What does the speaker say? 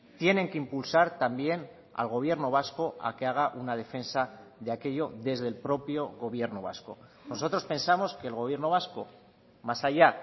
tienen que impulsar también al gobierno vasco a que haga una defensa de aquello desde el propio gobierno vasco nosotros pensamos que el gobierno vasco más allá